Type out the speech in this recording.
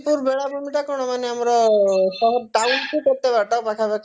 ଚାନ୍ଦିପୁର ବେଳାଭୂମି ଟା କଣ ମାନେ ଆମର town ଠୁ କେତେ ବାଟ ପାଖାପାଖି ହବ